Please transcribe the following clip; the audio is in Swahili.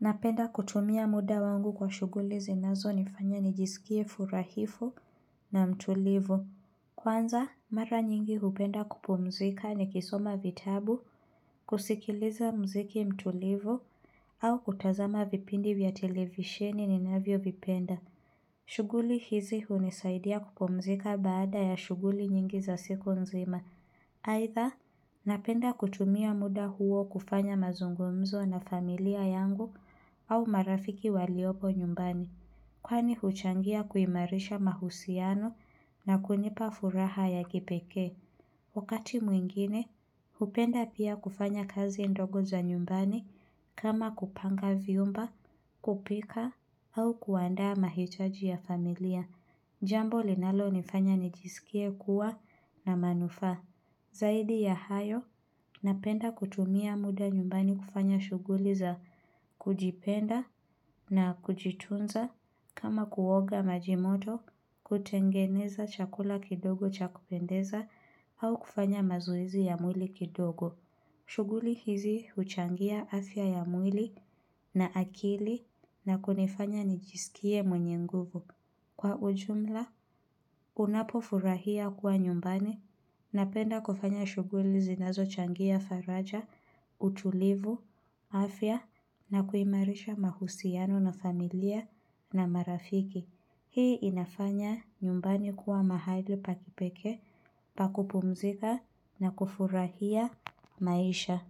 Napenda kutumia muda wangu kwa shuguli zinazo nifanya nijisikie furahifu na mtulivu Kwanza mara nyingi hupenda kupumzika nikisoma vitabu kusikiliza mziki mtulivu au kutazama vipindi vya televisheni ninavyo vipenda shughuli hizi hunisaidia kupumzika baada ya shughuli nyingi za siku nzima aidha, napenda kutumia muda huo kufanya mazungumzo na familia yangu au marafiki waliopo nyumbani Kwani huchangia kuimarisha mahusiano na kunipa furaha ya kipekee Wakati mwingine, hupenda pia kufanya kazi ndogo za nyumbani kama kupanga vyumba, kupika au kuandaa mahitaji ya familia Jambo linalo nifanya nijisikie kuwa na manufaa Zaidi ya hayo, napenda kutumia muda nyumbani kufanya shughuli za kujipenda na kujitunza kama kuoga maji moto, kutengeneza chakula kidogo cha kupendeza au kufanya mazoezi ya mwili kidogo. Shughuli hizi huchangia afya ya mwili na akili na kunifanya nijisikie mwenye nguvu. Kwa ujumla, unapofurahia kuwa nyumbani, napenda kufanya shuguli zinazo changia faraja, utulivu, afya, na kuimarisha mahusiano na familia na marafiki. Hii inafanya nyumbani kuwa mahali pakipekee, pakupumzika na kufurahia maisha.